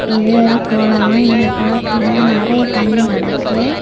இது ஒரு கொளம் இந்த கொளத்துள நெறய தண்ணி கெடக்கு.